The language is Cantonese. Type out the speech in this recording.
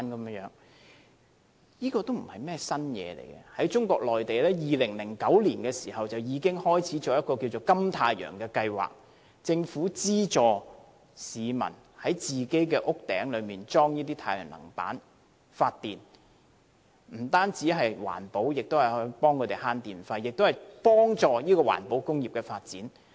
這不是甚麼新事物，中國內地在2009年已開始推行一個金太陽計劃，由政府資助市民在他們的屋頂設置太陽能板發電，不單環保，也能節省電費，而且幫助環保工業的發展。